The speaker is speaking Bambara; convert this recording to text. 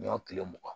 N'i y'o tile mugan